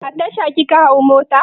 A Tasha kika hau mota?